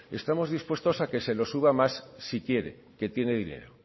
estamos dispuestos a que se los suba más si quiere que tiene dinero